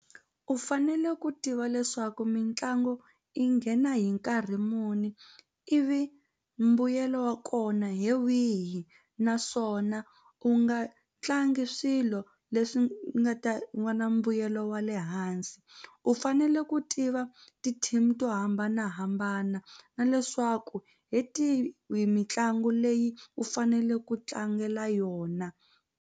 U fanele ku tiva leswaku mitlangu i nghena hi nkarhi muni ivi mbuyelo wa kona hi wihi naswona u nga tlangi swilo leswi u nga ta va na mbuyelo wa le hansi u fanele ku tiva ti-team to hambanahambana na leswaku hi tihi mitlangu leyi u fanele ku tlangela yona.